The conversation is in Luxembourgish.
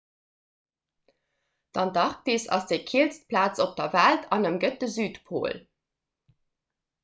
d'antarktis ass déi killst plaz op der welt an ëmgëtt de südpol